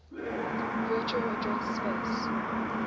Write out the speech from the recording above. virtual address space